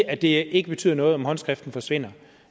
at det ikke betyder noget om håndskriften forsvinder